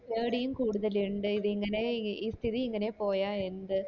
പേടിയും കൂടുതൽ ഇണ്ട് ഇതിങ്ങനെ ഈ സ്ഥിതി ഇങ്ങനെ പോയ എന്ത്